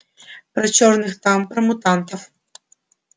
про чёрных там про мутантов